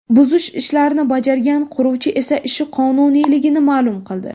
Buzish ishlarini bajargan quruvchi esa ishi qonuniyligini ma’lum qildi.